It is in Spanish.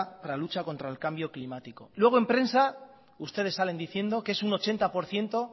para la lucha contra el cambio climático luego en prensa ustedes salen diciendo que es un ochenta por ciento